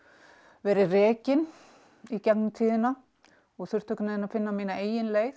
verið rekin í gegnum tíðina og þurft einhvern veginn að finna mína eigin leið